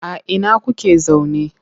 A ina kuke zaune?